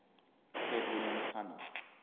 ted williams tunnel